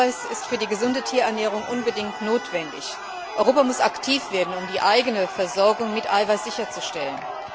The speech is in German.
Eiweiß ist für die gesunde Tierernährung unbedingt notwendig. Europa muss aktiv werden, um die eigene Versorgung mit Eiweiß sicherzustellen.